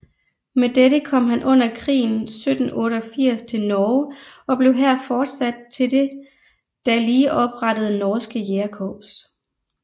Med dette kom han under krigen 1788 til Norge og blev her forsat til det da lige oprettede Norske Jægerkorps